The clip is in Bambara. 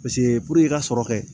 Paseke puruke i ka sɔrɔ kɛ